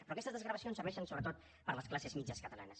però aquestes desgravacions serveixen sobretot per a les classes mitjanes catalanes